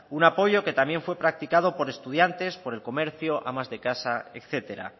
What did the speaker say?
un apoyo que también fue practicado por estudiantes por el comercio amas de casa etcétera